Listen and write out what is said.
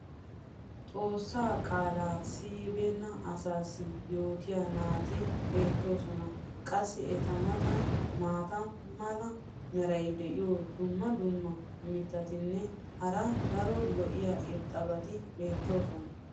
xoossaa qaalaa siyibeenna asaassi yootiyaa naati beetoosona. qassi eta matan maata mala meray diyo dumma dumma mitatinne hara daro lo'iya irxxabati beetoosona.